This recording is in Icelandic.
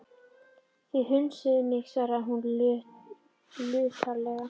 Þið kusuð mig svaraði hann luntalega.